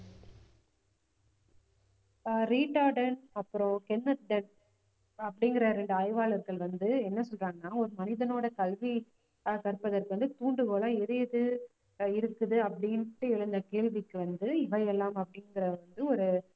ஆஹ் அப்புறம் அப்படிங்கிற ரெண்டு ஆய்வாளர்கள் வந்து என்ன சொல்றாங்கன்னா ஒரு மனிதனோட கல்வி க~ கற்பதற்கு வந்து தூண்டுகோல எது எது இருக்குது அப்படின்ட்டு எழுந்த கேள்விக்கு வந்து இவையெல்லாம் அப்படிங்கிறது வந்து ஒரு